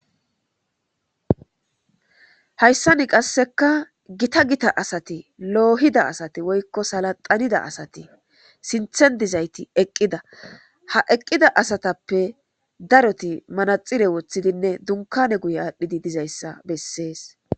Haysan qaseka Gita Gita asat loohida asat woyko salaxanida asat sinthen dizayt eqida. Ha eqida asatappe darot manaxire wothidinne dunkane guye adhid dizaysa beses.